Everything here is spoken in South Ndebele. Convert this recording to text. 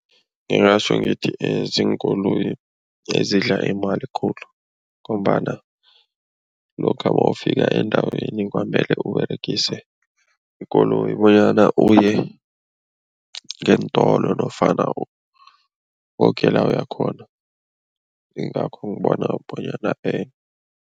Ngingatjho ngithi ziinkoloyi ezidla imali khulu ngombana lokha mawufika endaweni kwamele uberegise ikoloyi bonyana uye ngeentolo nofana koke la uya khona, yingakho ngibona bonyana